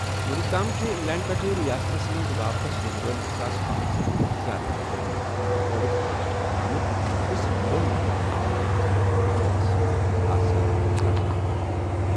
وُنیُک تام چھِ انگلینڈ پٮ۪ٹھٕ ریاستس منٛز واپس یِنہٕ وٲلۍ زٕ ساس پانژھ ہتھَ کھۄتہٕ زِیٛادٕ لوٗکَن ہُنٛد کووڈُک ٹیسٹ کرنہٕ آمُت، تہٕ صرف دۄن نفرَن منٛز چھِ نَیہِ قٕسمٕک کورونا وائرس ہٕنٛدۍ آثار ہاونہٕ آمٕتۍ۔